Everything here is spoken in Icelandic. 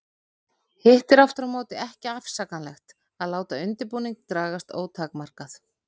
Hitt er aftur á móti ekki afsakanlegt að láta undirbúning dragast ótakmarkað.